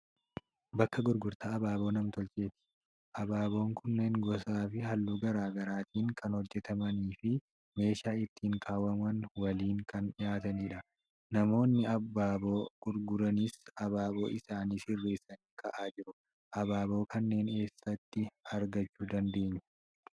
Bakka gurgurtaa abaaboo nam-tolcheeti. Abaaboon kunneen gosaafi haalluu garaagaraatiin kan hojjatamaniifi meeshaa ittiin kaawwaman waliin kan dhiyaatanidha. Namoonni abaaboo gurguranis abaaboo isaanii sirreessanii kaa'aa jiru. Abaaboo kanneen eessatti argachuu dandeenya?